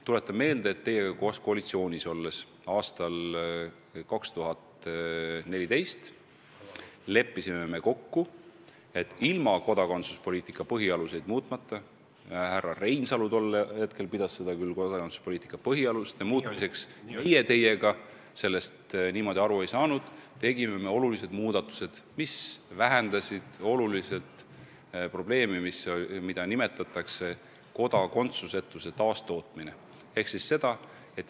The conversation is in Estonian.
Tuletan meelde, et teiega koos koalitsioonis olles me leppisime aastal 2014 kokku ja ilma kodakondsuspoliitika põhialuseid muutmata – härra Reinsalu pidas seda küll kodakondsuspoliitika põhialuste muutmiseks, meie teiega sellest niimoodi aru ei saanud – tegime väga vajalikud muudatused, mis vähendasid märksa probleemi, mida nimetatakse kodakondsusetuse taastootmiseks.